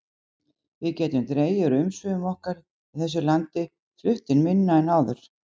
Við gætum dregið úr umsvifum okkar í þessu landi, flutt inn minna en áður.